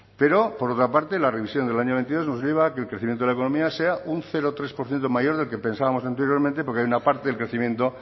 pero por otra parte la revisión del año veintidós nos lleva a que el crecimiento de la economía sea un cero coma tres por ciento mayor del que pensábamos anteriormente porque hay una parte del crecimiento